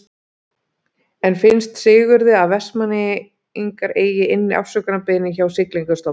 En finnst Sigurði að Vestmannaeyingar eigi inni afsökunarbeiðni hjá Siglingastofnun?